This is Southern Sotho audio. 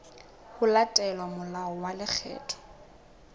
ho latela molao wa lekgetho